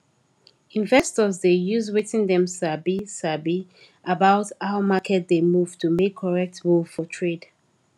investors dey use wetin dem sabi sabi about how market dey move to make correct move for trade